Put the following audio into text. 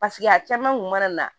a caman kun mana na